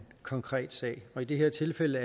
konkret sag i det her tilfælde